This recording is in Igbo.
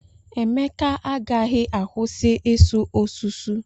Emeka agaghị akwụsị isu ọsụsụ.